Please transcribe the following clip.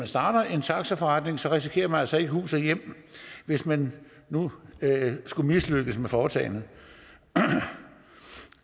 starter en taxaforretning risikerer man altså ikke hus og hjem hvis man nu skulle mislykkes med foretagendet